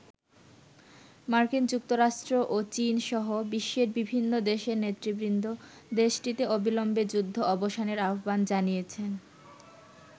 মার্কিন যুক্তরাষ্ট্র ও চীন সহ বিশ্বের বিভিন্ন দেশের নেতৃবৃন্দ দেশটিতে অবিলম্বে যুদ্ধ অবসানের আহ্বান জানিয়েছেন।